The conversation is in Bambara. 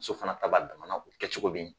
Muso fana ta b'a damana o bɛ kɛ cogo min